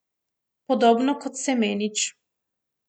Podobno kot Semenič.